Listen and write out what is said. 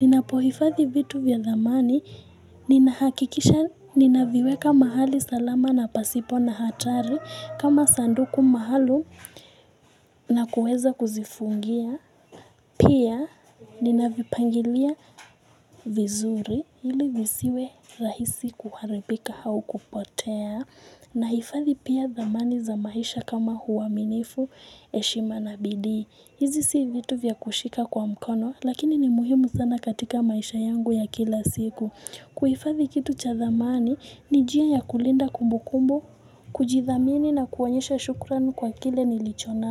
Ninapohifathi vitu vya dhamani, ninahakikisha ninaviweka mahali salama na pasipo na hatari kama sanduku maalum na kueza kuzifungia. Pia ninavipangilia vizuri, ili visiwe rahisi kuharibika au kupotea. Nahifadhi pia dhamani za maisha kama uwaminifu heshima na bidii. Hizi si vitu vya kushika kwa mkono, lakini ni muhimu sana katika maisha yangu ya kila siku. Kuhifadhi kitu cha thamani, ni njia ya kulinda kumbukumbu, kujithamini na kuonyesha shukrani kwa kile nilichonacho.